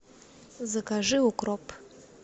закажи укроп